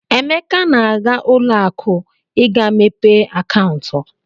Emeka na-aga ụlọakụ ị ga-mepe akaụntụ.